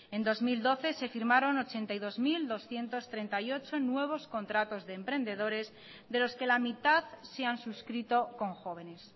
en dos mil doce se firmaron ochenta y dos mil doscientos treinta y ocho nuevos contratos de emprendedores de los que la mitad se han suscrito con jóvenes